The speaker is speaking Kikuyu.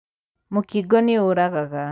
Mũkingo nĩũragaga.